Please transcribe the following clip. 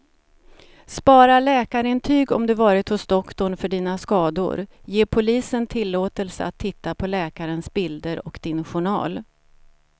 Spara läkarintyg om du varit hos doktorn för dina skador, ge polisen tillåtelse att titta på läkarens bilder och din journal.